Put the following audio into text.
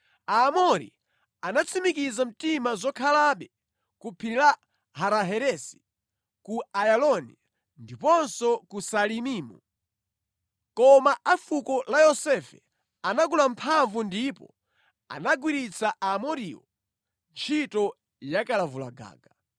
Aamori anatsimikiza mtima zokhalabe ku phiri la Hara-Heresi, ku Ayaloni, ndiponso ku Saalibimu. Koma a fuko la Yosefe anakula mphamvu ndipo anagwiritsa Aamoriwo ntchito yakalavulagaga.